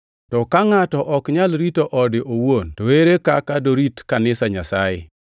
(To ka ngʼato ok nyal rito ode owuon, to ere kaka dorit kanisa Nyasaye?)